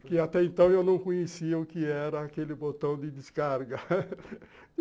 Porque, até então, eu não conhecia o que era aquele botão de descarga